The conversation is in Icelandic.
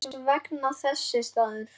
Hvers vegna þessi staður?